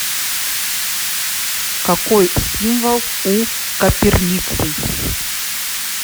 какой символ у коперниций